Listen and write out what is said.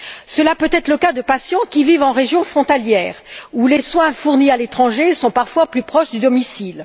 Cela peut être le cas de patients qui vivent en région frontalière, où les soins fournis à l'étranger sont parfois plus proches du domicile.